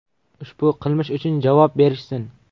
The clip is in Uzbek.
Ushbu qilmish uchun javob berishsin!